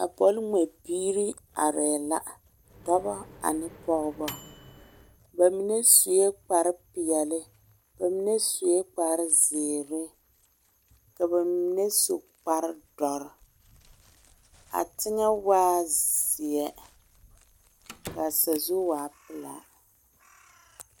A bɔl ŋmɛ biiri are la, dɔba ane pɔgeba. ba mine sue kpare pɛɛle, ba mine sue kpare zeɛre ka ba mine su kpare doɔre, a teŋɛ waa la zeɛ kaa sazu waa pelaa